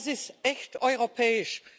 Das ist echt europäisch!